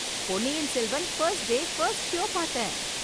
பொன்னியின் Selvan first நாள் first show பார்த்தே.